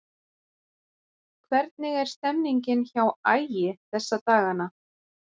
Hvernig er stemningin hjá Ægi þessa dagana?